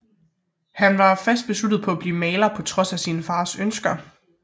Han var fast besluttet på at blive maler på trods af sin fars ønsker